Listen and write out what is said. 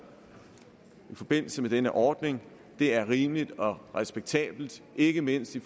i forbindelse med denne ordning er rimeligt og respektabelt ikke mindst i